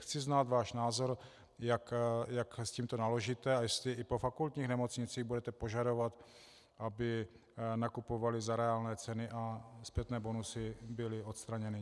Chci znát váš názor, jak s tímto naložíte a jestli i po fakultních nemocnicích budete požadovat, aby nakupovaly za reálné ceny, a zpětné bonusy byly odstraněny.